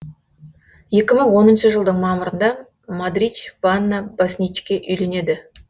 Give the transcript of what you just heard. екі мың оныншы жылдың мамырында модрич вана босничке үйленеді